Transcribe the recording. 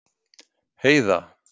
Heiða